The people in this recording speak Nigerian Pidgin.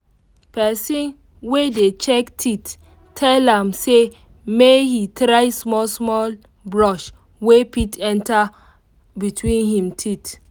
person wey dey check teeth tell am say make he try small brush wey fit enter between him teeth